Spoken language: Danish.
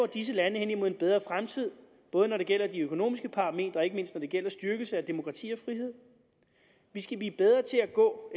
disse lande hen imod en bedre fremtid både når det gælder de økonomiske parametre og ikke mindst når det gælder styrkelse af demokrati og frihed vi skal blive bedre til at gå